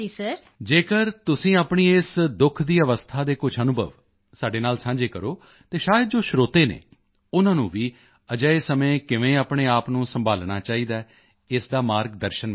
ਜੇਕਰ ਤੁਸੀਂ ਆਪਣੀ ਇਸ ਦੁੱਖ ਦੀ ਅਵਸਥਾ ਦੇ ਕੁਝ ਅਨੁਭਵ ਸਾਡੇ ਨਾਲ ਸਾਂਝੇ ਕਰੋ ਤਾਂ ਸ਼ਾਇਦ ਜੋ ਸਰੋਤੇ ਹਨ ਉਨ੍ਹਾਂ ਨੂੰ ਵੀ ਅਜਿਹੇ ਸਮੇਂ ਕਿਵੇਂ ਆਪਣੇ ਆਪ ਨੂੰ ਸੰਭਾਲਣਾ ਚਾਹੀਦਾ ਹੈ ਇਸ ਦਾ ਮਾਰਗ ਦਰਸ਼ਨ ਮਿਲੇਗਾ